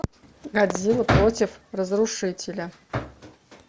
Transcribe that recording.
годзилла против разрушителя